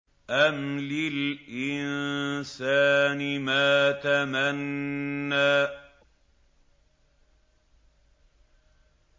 أَمْ لِلْإِنسَانِ مَا تَمَنَّىٰ